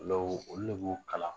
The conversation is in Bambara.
olu ne b'u kalan